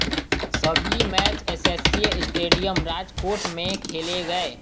सभी match SCA stadium Rajkot में खेले गए